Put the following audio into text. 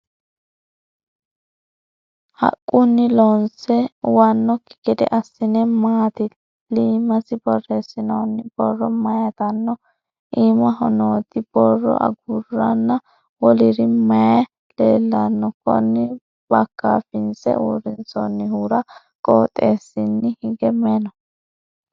Haqunni loonse uwanoki gede asine maati? Iimasi boreesinoonni borro mayitano? Iimaho nooti borro aguranna woliri mayi leellano? Konni bakaafinse uurinsoonnihura qotesiinni hige mayi no?